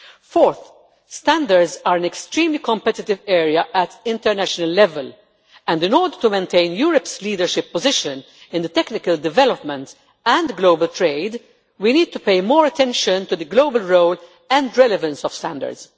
Fourth, standards is an extremely competitive area at international level and in order to maintain Europe's leadership position in technical development and global trade, we need to pay more attention to the global role and relevance of standards.